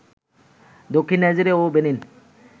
দক্ষিণে নাইজেরিয়া ও বেনিন